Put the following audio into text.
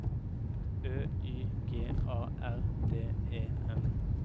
Ø Y G A R D E N